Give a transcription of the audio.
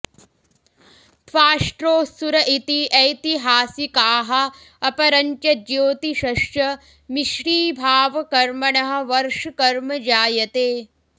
त्वाष्ट्रो सुर इति ऐतिहासिकाः अपरञ्च ज्योतिषश्च मिश्रीभावकर्मणः वर्षकर्म जायते